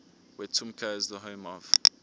wetumpka is the home of